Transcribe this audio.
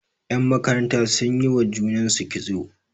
yanmakaranta sun yi wa junansu kitso